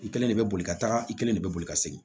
I kelen de bɛ boli ka taga i kelen de bɛ boli ka segin